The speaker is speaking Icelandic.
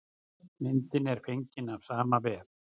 Myndin er fengin af sama vef.